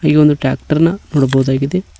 ಇಲ್ಲಿ ಒಂದು ಟ್ಯಾಕ್ಟರ್ ನ ನೋಡಬಹುದಾಗಿದೆ.